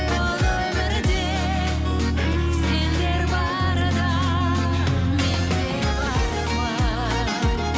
бұл өмірде сендер барда мен де бармын